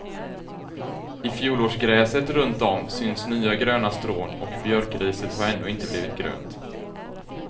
I fjolårsgräset runtom syns nya gröna strån och björkriset har ännu inte blivit grönt.